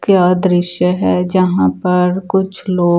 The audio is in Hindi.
क्या दृश्य है जहाँ पर कुछ लोग--